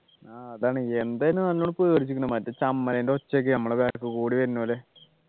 ആഹ് അതാണ് എന്തായാലും നല്ലോണം പേടിച്ച്ക്ക്ണ് മറ്റേ ഒച്ചയൊക്കെ നമ്മുടെ back കൂടി വരുന്ന പോലെ